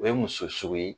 O ye muso sugu ye